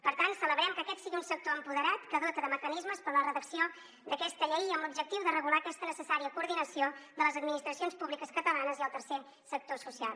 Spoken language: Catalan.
per tant celebrem que aquest sigui un sector empoderat que dota de mecanismes per a la redacció d’aquesta llei amb l’objectiu de regular aquesta necessària coordinació de les administracions públiques catalanes i el tercer sector social